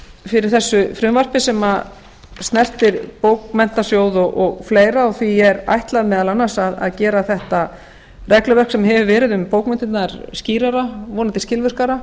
fyrir þessu frumvarpi sem snertir bókmenntasjóð og fleira og því er ætlað meðal annars að gera þetta regluverk sem hefur verið um bókmenntirnar skýrara vonandi skilvirkara